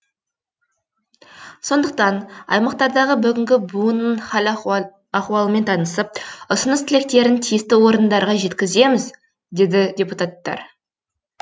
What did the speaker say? сондықтан аймақтардағы бүгінгі буынның хал ахуалымен танысып ұсыныс тілектерін тиісті орындарға жеткіземіз деді депутаттар